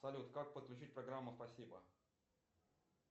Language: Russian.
салют как подключить программу спасибо